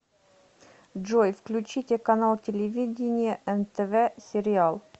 джой включите канал телевидения нтв сериал